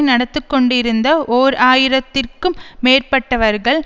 நடத்தி கொண்டிருந்த ஓர் ஆயிரம் இற்கு மேற்பட்டவர்கள்